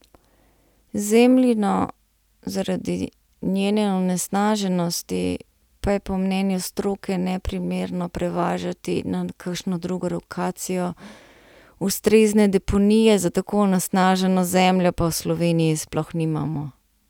Zemljino zaradi njene onesnaženosti pa je po mnenju stroke neprimerno prevažati na kakšno drugo lokacijo, ustrezne deponije za tako onesnaženo zemljo pa v Sloveniji sploh nimamo.